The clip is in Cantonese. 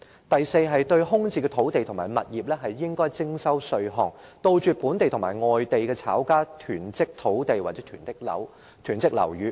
第四，應該對空置土地和物業徵稅，以杜絕本地和外地炒家囤積土地或樓宇。